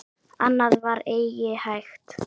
Annað var eigi hægt.